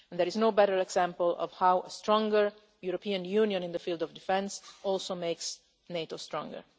There is no better example of how a stronger European Union in the field of defence also makes NATO stronger.